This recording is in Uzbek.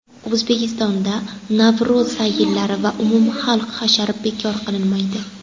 O‘zbekistonda Navro‘z sayillari va umumxalq hashari bekor qilinmaydi.